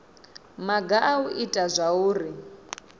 maga a u ita zwauri